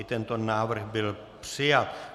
I tento návrh byl přijat.